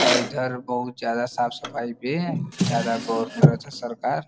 और इधर बहुत ज्यादा साफ-सफाई पे ज्यादा गौर करत ह सरकार।